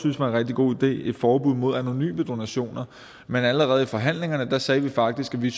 en rigtig god idé et forbud mod anonyme donationer men allerede under forhandlingerne sagde vi faktisk at vi